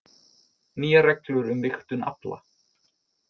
Nýjar reglur um vigtun afla